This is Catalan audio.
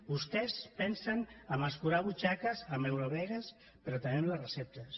vostès pensen en escurar butxaques en eurovegas però també en les receptes